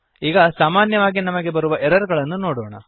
ಈಗ ಸಾಮಾನ್ಯವಾಗಿ ನಮಗೆ ಬರುವ ಎರರ್ ಅನ್ನು ನೋಡೋಣ